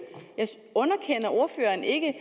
underkender ordføreren ikke